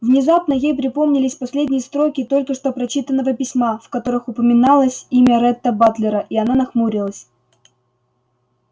внезапно ей припомнились последние строки только что прочитанного письма в которых упоминалось имя ретта батлера и она нахмурилась